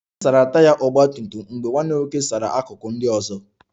M sara Taya nke ọgba tum tum ahụ mgbe nwanne m nwoke sara akụkụ ndị ọzọ